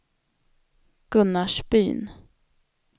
Gunnarsbyn